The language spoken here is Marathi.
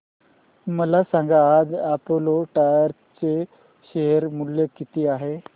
मला सांगा आज अपोलो टायर्स चे शेअर मूल्य किती आहे